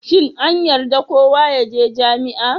Shin an yarda kowa ya je jami'a?